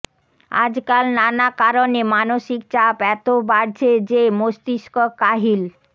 আজকাল নানা কারণে মানসিক চাপ এত বাড়ছে যে মস্তিষ্ক কাহিল